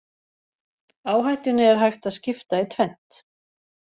Áhættunni er hægt að skipta í tvennt.